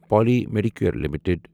Poly Medicure limited